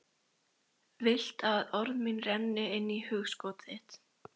Vilt að orð mín renni inn í hugskot þitt.